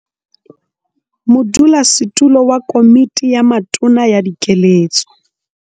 Modulasetulo wa Komiti ya Matona ya Dikeletso.